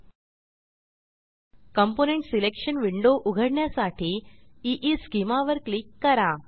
component selection window उघडण्यासाठी ईस्केमा वर क्लिक करा